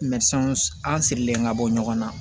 an sirilen ka bɔ ɲɔgɔn na